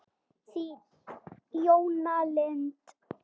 Þín, Jóna Lind.